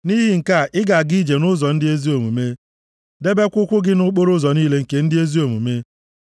Nʼihi nke a, ị ga-aga ije nʼụzọ ndị ezi omume, debekwa ụkwụ gị nʼokporoụzọ niile nke ndị ezi omume,